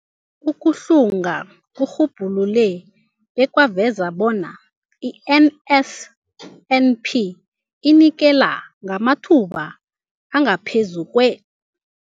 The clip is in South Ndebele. Ukuhlunga kurhubhulule bekwaveza bona i-NSNP inikela ngamathuba angaphezulu kwe-